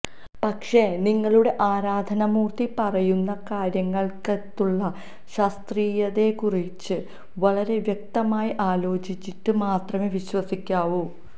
പക്ഷേ നിങ്ങളുടെ ആരാധനാമൂർത്തി പറയുന്ന കാര്യങ്ങൾക്കകത്തുള്ള ശാസ്ത്രീയതയെക്കുറിച്ച് വളരെ വ്യക്തമായി ആലോചിച്ചിട്ട് മാത്രമേ വിശ്വസിക്കാവൂ